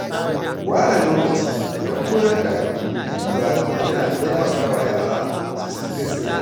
Ware lokaci don koyar da addini a gida yana taimaka wa yara su san gaskiya.